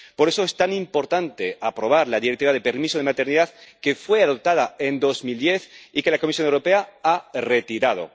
Por eso es tan importante aprobar la Directiva sobre el permiso de maternidad, que fue adoptada en 2010 y que la Comisión Europea ha retirado.